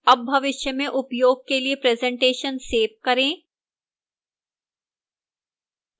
अब भविष्य में उपयोग के लिए presentation सेव करें